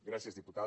gràcies diputada